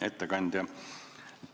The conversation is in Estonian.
Hea ettekandja!